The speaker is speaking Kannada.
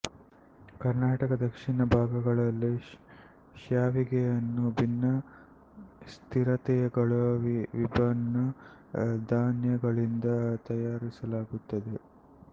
ಕರ್ನಾಟಕದ ದಕ್ಷಿಣ ಭಾಗಗಳಲ್ಲಿ ಶ್ಯಾವಿಗೆಯನ್ನು ಭಿನ್ನ ಸ್ಥಿರತೆಗಳ ವಿಭಿನ್ನ ಧಾನ್ಯಗಳಿಂದ ತಯಾರಿಸಲಾಗುತ್ತದೆ